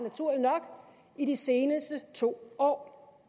i de seneste to år